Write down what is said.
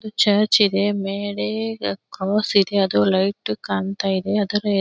ಇದು ಚರ್ಚ್ ಇದೆ ಮೇಲೆ ಕಾಸ್ ಇದೆ ಅದು ಲೈಟ್ ಕಾಣತ್ತಾಯಿದೆ ಅದರ.--